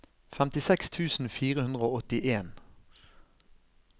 femtiseks tusen fire hundre og åttien